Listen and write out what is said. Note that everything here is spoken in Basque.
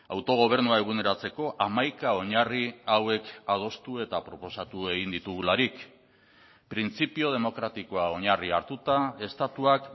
autogobernua eguneratzeko hamaika oinarri hauek adostu eta proposatu egin ditugularik printzipio demokratikoa oinarri hartuta estatuak